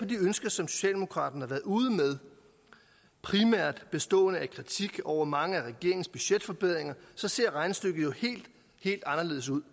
de ønsker som socialdemokraterne har været ude med primært bestående af kritik over mange af regeringens budgetforbedringer ser regnestykket jo helt helt anderledes ud